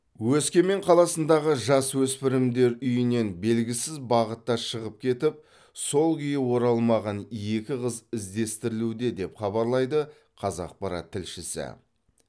өскемен қаласындағы жасөспірімдер үйінен белгісіз бағытта шығып кетіп сол күйі оралмаған екі қыз іздестірілуде деп хабарлайды қазақпарат тілшісі